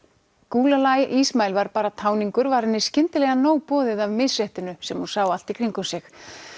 Gulalai Ismail var bara táningur var henni skyndilega nóg boðið af misréttinu sem hún sá allt í kringum sig